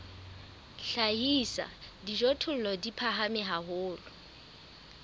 hlahisa dijothollo di phahame haholo